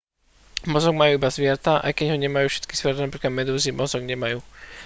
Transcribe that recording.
mozog majú iba zvieratá aj keď ho nemajú všetky zvieratá; napríklad medúzy mozog nemajú